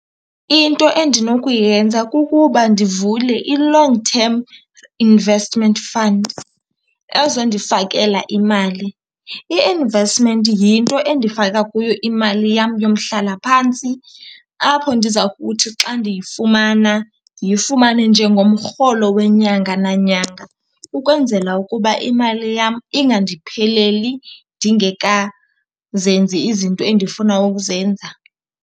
Into endinokuyenza kukuba ndivule i-long term investment fund ezondifakela imali. I-investment yinto endifaka kuyo imali yam yomhlalaphantsi, apho ndiza kuthi xa ndiyifumana ndiyifumane njengomrholo wenyanga nanyanga ukwenzela ukuba imali yam ingandipheleli ndingekazenzi izinto endifuna ukuzenza.